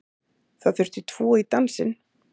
Það þurfti tvo í dansinn